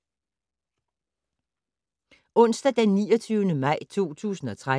Onsdag d. 29. maj 2013